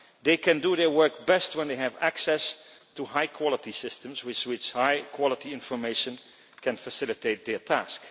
They can do their work best when they have access to high quality systems with high quality information that can facilitate their task.